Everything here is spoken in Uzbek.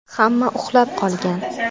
Hamma uxlab qolgan.